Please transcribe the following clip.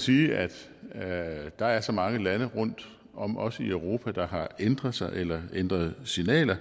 sige at der er så mange lande rundt om os i europa der har ændret sig eller ændret signaler